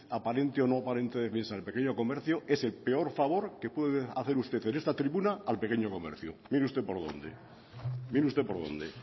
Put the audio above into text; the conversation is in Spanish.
aparente o no aparente defensa del pequeño comercio es el peor favor que puede hacer usted en esta tribuna al pequeño comercio mire usted por dónde